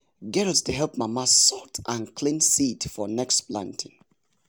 girls dey help mama sort and clean seed for next planting.